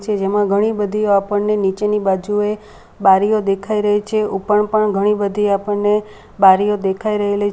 જેમાં ઘણી બધી આપણને નીચેની બાજુએ બારીઓ દેખાઈ રહી છે ઉપર પણ ઘણી બધી આપણને બારીઓ દેખાઈ રહેલી છે.